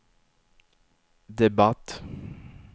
debatt